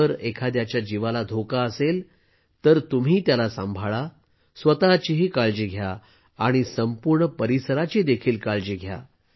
जर एखाद्याच्या जीवाला धोका असेल तर तुम्ही त्याला सांभाळा स्वतःचीही काळजी घ्या आणि संपूर्ण परिसराची देखील काळजी घ्या